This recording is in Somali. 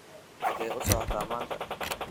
xagee u socotaa maanta